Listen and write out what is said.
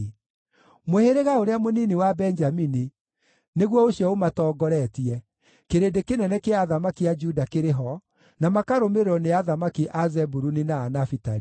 Mũhĩrĩga ũrĩa mũnini wa Benjamini nĩguo ũcio ũmatongoretie, kĩrĩndĩ kĩnene kĩa athamaki a Juda kĩrĩ ho, na makarũmĩrĩrwo nĩ athamaki a Zebuluni na a Nafitali.